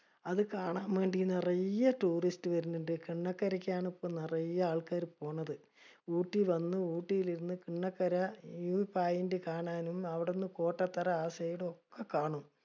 അത് കാണാൻ വേണ്ടി നറയെ tourist വര്ണിണ്ട്. കണ്ണകരക്കാണ് ഇപ്പൊ നറയെ ആൾക്കാര് പോണത്. ഊട്ടി വന്ന് ഊട്ടിയിൽ ഇരുന്ന് കണ്ണക്കര view point കാണാനും അവിടുന്ന് കോട്ടത്തറ ആ side ഒക്കെ കാണും.